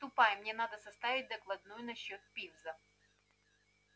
ступай мне надо составить докладную насчёт пивза